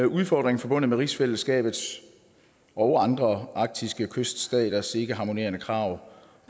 udfordring forbundet med rigsfællesskabets og andre arktiske kyststaters ikke harmonerende krav